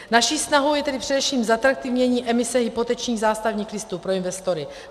Naší snahou je tedy především zatraktivnění emise hypotečních zástavních listů pro investory.